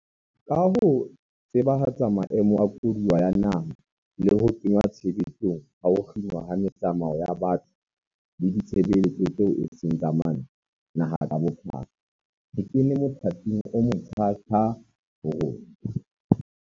Ka ho tsebahatsa maemo a koduwa ya naha le ho kenngwa tshebetsong ha ho kginwa ha metsamao ya batho le ditshebeletso tseo eseng tsa mantlha naha ka bophara, re kene mothating omotjha-tjha ho rona.